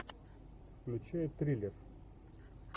включай триллер